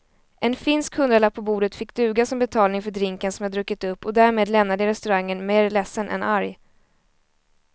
En finsk hundralapp på bordet fick duga som betalning för drinken som jag druckit upp och därmed lämnade jag restaurangen mer ledsen än arg.